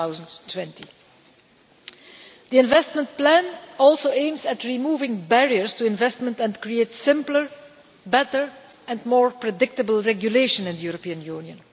2020. The Investment Plan also aims at removing barriers to investment and at creating simpler, better and more predictable regulation in the European Union.